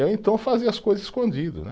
Eu então fazia as coisas escondido, né?